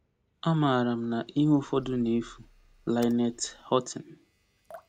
“Amara m na ihe ụfọdụ na-efu.” LYNETTE HOUGHTING